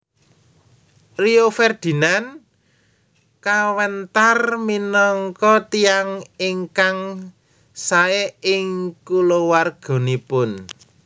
Rio Ferdinand kawentar minangka tiyang ingkang sae ing kulawarganipun